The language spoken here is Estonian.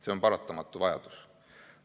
See on paratamatu vajadus.